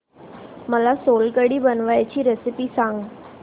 मला सोलकढी बनवायची रेसिपी सांग